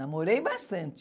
Namorei bastante.